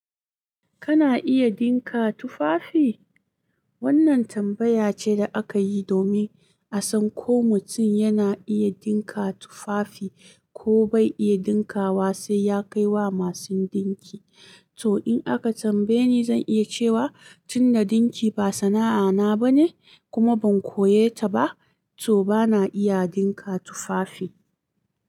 Kana iya dinka tufafi? Wannan tambaya ce da aka yi domin a san ko mutum yana iya dinka tufafi ko bai iya dinka wa sai ya kai wa masu dinki. To in aka tambaye ni zan iya cewa, tunda dinki ba sana'a na ba ne kuma ban koye ta ba, to bana iya dinka tufafi.